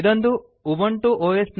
ಇದೊಂದು Ubuntu OS